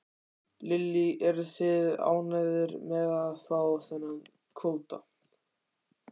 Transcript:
Lillý: Eruð þið ánægðir með að fá þennan kvóta?